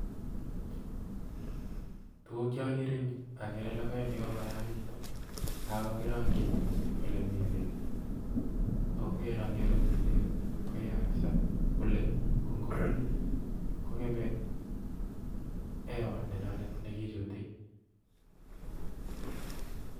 Tuguuk cheokere en yuu okere logoek chekokoyachekitun ak kakirongyii ole mii beek, ak ngerokyii ole mii beek koyaa Kabsaa bule ko ingobuul I kongemee hewa nenyonet nekichutii